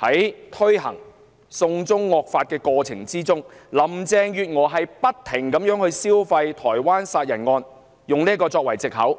在推動"送中惡法"的過程中，林鄭月娥不斷"消費"台灣殺人案，以此作藉口